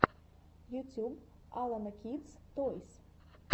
ютюб алена кидс тойс